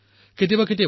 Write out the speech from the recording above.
তেওঁলোকৰ মনেই মোৰ মন